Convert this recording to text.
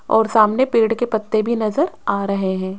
और सामने पेड़ के पत्ते भी नजर आ रहे हैं।